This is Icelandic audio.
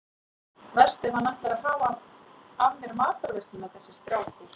Verst ef hann ætlar að hafa af mér matarveisluna þessi strákur.